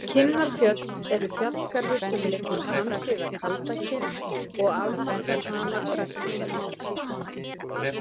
Kinnarfjöll eru fjallgarður sem liggur samsíða Kaldakinn og afmarkar hana að vestanverðu.